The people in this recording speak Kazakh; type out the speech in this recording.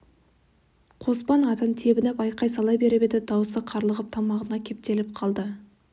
қоспан атын тебініп айқай сала беріп еді даусы қарлығып тамағына кептеліп қалды